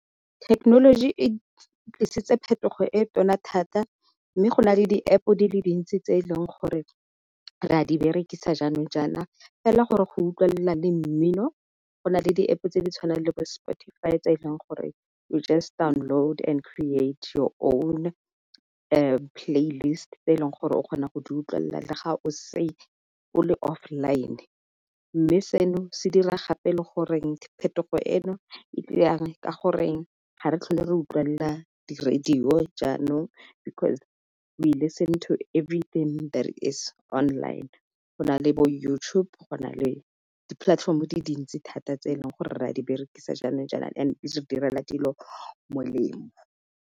Thekenoloji e tlisetsa phetogo e tona thata mme go na le di-App-o di le dintsi tse e leng gore re a di berekisa jaanong jaana, fela gore go utlwala le mmino go na le di-App-o tse di tshwana le bo-spotify tse e leng gore you just download and create your own playlist tse e leng gore o kgona go di utlwelela le ga o o le off-line. Mme seno se dira gape le gore phetogo eno e ka goreng ga re tlhole re utlwelela di-radio jaanong, because we listen to everything that is online. Go na le bo YouTube go na le di-platform di dintsi thata tse e leng gore ra di berekisa jaanong jana and direla dilo molemo.